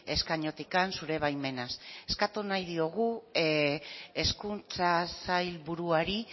eskainotik zure baimenaz eskatu nahi diogu hezkuntza sailburuari